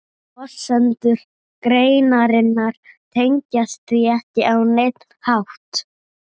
Forsendur greinarinnar tengjast því ekki á neinn hátt.